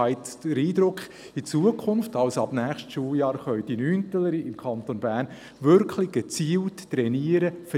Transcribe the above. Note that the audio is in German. Ich habe den Eindruck, dass in Zukunft, also ab dem nächsten Schuljahr, die Schüler in der 9. Klasse gezielt trainieren können.